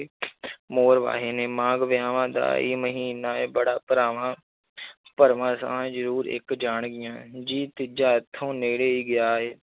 ਮੋਰ ਵਾਹੇ ਨੇ, ਮਾਘ ਵਿਆਹਾਂ ਦਾ ਹੀ ਮਹੀਨਾ ਹੈ ਬੜਾ ਭਰਾਵਾਂ ਭਰਵਾਂ ਜ਼ਰੂਰ ਇੱਕ ਜਾਣਗੀਆਂ ਜੀ ਤੀਜਾ ਇੱਥੋਂ ਨੇੜੇ ਹੀ ਗਿਆ ਹੈ